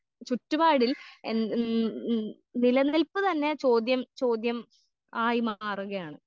ചുറ്റുപാടിൽ നിലനിൽപ്പ് തന്നെ ചോദ്യം ചോദ്യം ആയി മാറുകയാണ്.